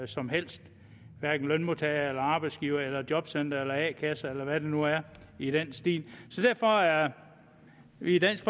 som helst hverken lønmodtagere arbejdsgivere jobcentre eller a kasser eller hvem det nu er i den stil så derfor er vi i dansk